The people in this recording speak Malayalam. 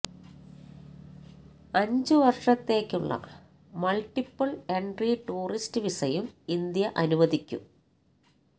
അഞ്ചു വര്ഷ ത്തേക്കുള്ള മള്ട്ടി പ്പിള് എന്ട്രി ടൂറിസ്റ്റ് വിസയും ഇന്ത്യ അനു വദിക്കും